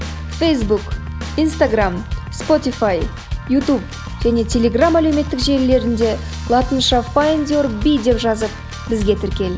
фейсбук инстаграмм спотифай ютуб және телеграм әлеуметтік желілерінде латынша файндюрби деп жазып бізге тіркел